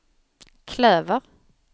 klöver